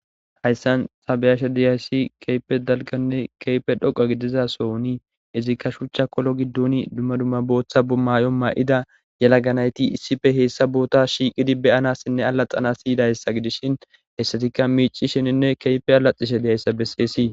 Haysan ta beyashe dizays keehippe dalganne keehippe dhoqa gidid sohon izika shucha kolo gidon booth mayo mayida yelaga nayt hesa bota shiqid beyanasinne alaqanas yidaysa gidishn hesatika micishenne keek alacishe dizaysa beses.